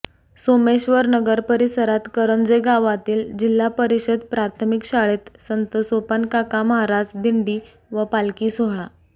सोमेश्वरनगर परिसरात करंजे गावातील जिल्हा परिषद प्राथमिक शाळेत संत सोपनकाका महाराज दिंडी व पालखी सोहळा